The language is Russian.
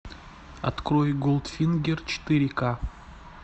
открой голдфингер четыре ка